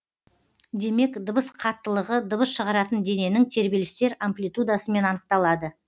демек дыбыс қаттылығы дыбыс шығаратын дененің тербелістер амплитудасымен анықталады